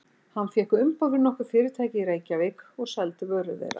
Hann fékk umboð fyrir nokkur fyrirtæki í Reykjavík og seldi vörur þeirra.